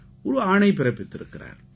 ஒரு ஆணை பிறப்பித்திருக்கிறார்